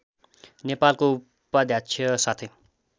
नेपालको उपाध्यक्ष साथै